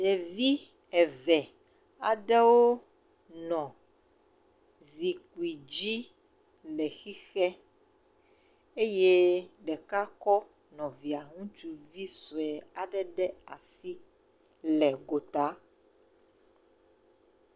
Ɖevi eve aɖewo nɔ zikpui dzi eye ɖeka kɔ nɔvia ŋutsuvi sɔe aɖe le asi le gota.